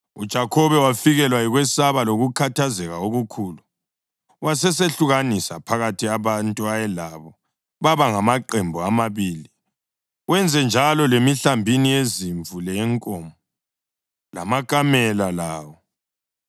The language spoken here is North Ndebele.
UJakhobe wafikelwa yikwesaba lokukhathazeka okukhulu wasesehlukanisa phakathi abantu ayelabo baba ngamaqembu amabili, wenzenjalo lemihlambini yezimvu leyenkomo lamakamela lawo.